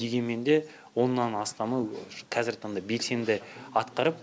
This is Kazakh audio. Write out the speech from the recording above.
дегенмен де оннан астамы қазіргі таңда белсенді атқарып